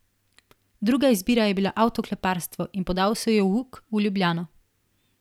Druga izbira je bila avtokleparstvo in podal se je v uk v Ljubljano.